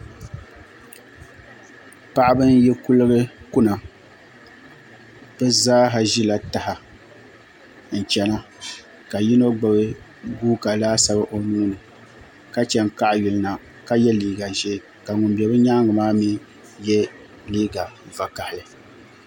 Paɣaba n yi kuligi kuna bi zaaha ʒila taha n chɛna ka yino gbubi guuka laasabu o nuuni ka chɛ n kaɣa yulina ka yɛ liiga ʒiɛ ka ŋun bɛ bi nyaangi maa mii yɛ liigq vakaɣali